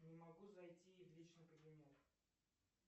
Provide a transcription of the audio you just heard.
не могу зайти в личный кабинет